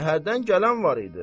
Şəhərdən gələn var idi.